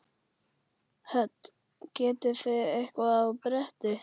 Hödd: Getið þið eitthvað á bretti?